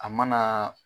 A mana